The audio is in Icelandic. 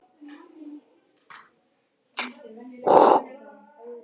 Skólabræður mínir komu til mín og sögðu að ég hefði ekki getað betur gert.